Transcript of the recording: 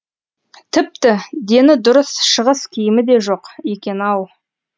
тіпті дені дұрыс шығыс киімі де жоқ екен ау